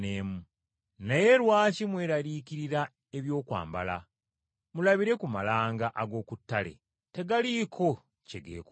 “Naye lwaki mweraliikirira ebyokwambala? Mulabire ku malanga ag’oku ttale! Tegaliiko kye geekolera,